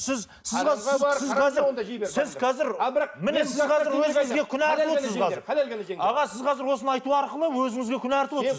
аға сіз қазір осыны айту арқылы өзіңізге күнә артып отырсыз